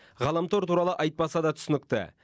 ғаламтор туралы айтпаса да түсінікті